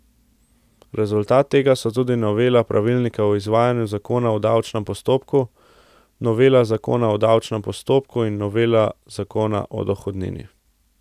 Rezultat tega so tudi novela pravilnika o izvajanju zakona o davčnem postopku, novela zakona o davčnem postopku in novela zakona o dohodnini.